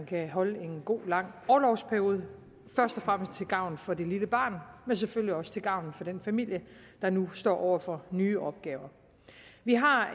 kan holde en god lang orlovsperiode først og fremmest til gavn for det lille barn men selvfølgelig også til gavn for den familie der nu står over for nye opgaver vi har